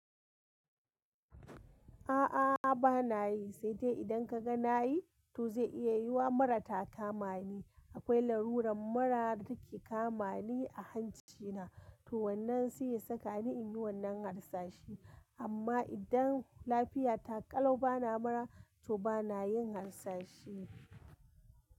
A'a ba na yi, sai dai idan ka ga na yi, to zai iya yiwuwa mura ta kama ni. Akwai laruran mura da take ka ma ni a hanci na, to wannan si ya saka ni in yi wannan harsashi. Amma idan lafiyata ƙalau bana mura, to bana yin harsashi.